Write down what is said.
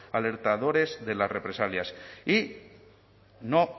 alertadores de las represalias y no